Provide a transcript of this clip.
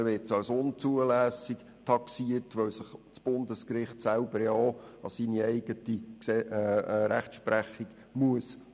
Am Ende wird die Strafe als unzulässig taxiert, weil sich das Bundesgericht schliesslich an seine eigene Rechtsprechung halten muss.